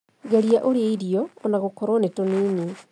Geria ũrĩe irio ona gũkorwo nĩ tũnini